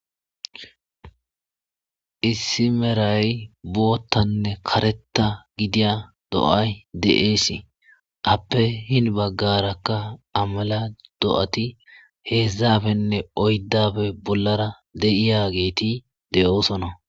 issi meray boottanne kareta gidiya do7ay de7eesi appe hin baggarakka amala do7ati heedzdzafenne oyddafe bollara de7iya geeti de7oosona